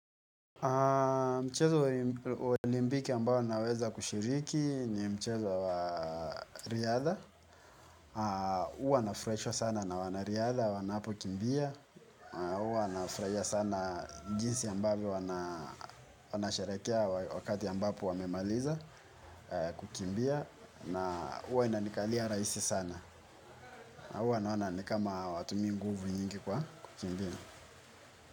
Mchezo wa olimpiki ambao naweza kushiriki ni mchezo wa riadha. Huwa nafurahishwa sana na wanariadha, wanapokimbia. Huwa nafurahia sana jinsi ambavyo wanasherehekea wakati ambapo wamemaliza kukimbia. Huwa inanikalia rahisi sana. Huwa naona ni kama hawatumii nguvu nyingi kwa kukimbia.